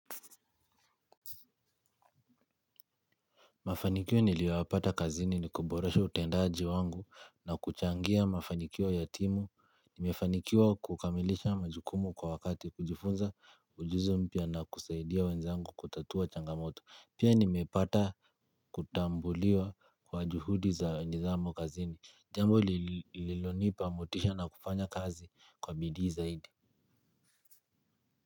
Mafanikiwo niliyowapata kazini ni kuboresha utendaji wangu na kuchangia mafanikiwo ya timu. Nimefanikiwa kukamilisha majukumu kwa wakati kujifunza ujuzi mpia na kusaidia wenzangu kutatua changamoto. Pia nimepata kutambuliwa kwa juhudi za nidhamu kazini. Jambo lililonipa motisha na kufanya kazi kwa bidii zaidi.